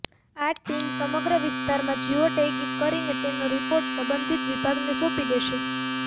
આ ટીમ સમગ્ર વિસ્તારમાં જીઓ ટૈગિગ કરીને તેનો રિપોર્ટ સંબંધિત વિભાગને સોપી દેશે